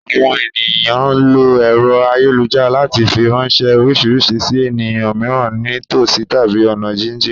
Àwọn ènìyàn ń lo ẹ̀rọ ayélujára láti fi ránṣẹ́ oríṣiríṣi sì ènìyàn mìíràn ní tòsí tàbí ọ̀nà jínjìn